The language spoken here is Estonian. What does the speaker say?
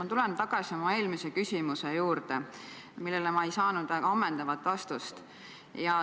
Ma tulen tagasi oma eelmise küsimuse juurde, millele ma ei saanud ammendavat vastust.